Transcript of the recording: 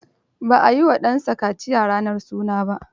Ba a yi wa ɗansa kaciya ranar suna ba.